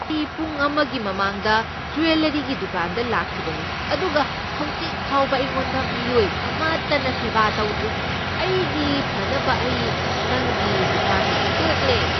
ꯑꯩ ꯄꯨꯡ ꯑꯃꯒꯤ ꯃꯃꯥꯡꯗ ꯖꯨꯋꯦꯜꯂꯔꯤꯒꯤ ꯗꯨꯀꯥꯟꯗ ꯂꯥꯛꯈꯤꯕꯅꯤ ꯑꯗꯨꯒ ꯍꯧꯖꯤꯛ ꯐꯥꯎꯕ ꯑꯩꯉꯣꯟꯗ ꯃꯤꯑꯣꯏ ꯑꯃꯠꯇꯅ ꯁꯦꯕ ꯇꯧꯗꯔꯤ ꯫ ꯑꯩꯒꯤ ꯐꯅꯕ ꯑꯩ ꯅꯪꯒꯤ ꯗꯨꯀꯥꯟ ꯑꯁꯤ ꯇꯣꯛꯂꯦ꯫